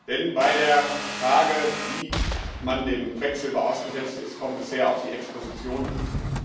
Denn bei der Frage, wie man dem Quecksilber ausgesetzt ist, kommt es sehr auf die Exposition an.